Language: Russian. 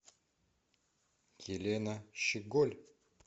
елена щеголь